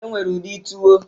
E nwere ụdị tuwo